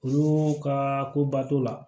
Olu ka koba t'o la